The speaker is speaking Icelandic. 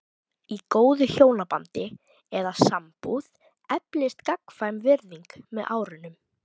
Í góðu hjónabandi eða sambúð eflist gagnkvæm virðing með árunum.